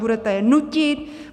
Budete je nutit?